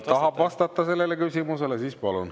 … tahab vastata sellele küsimusele, siis palun.